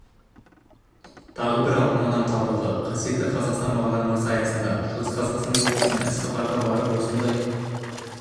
тағы бір алтын адам табылды қасиетті қазақстан бағдарламасы аясында шығыс қазақстан облысына іссапарға барып осындай